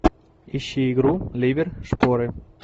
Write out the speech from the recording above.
ищи игру ливер шпоры